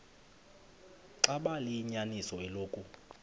xaba liyinyaniso eloku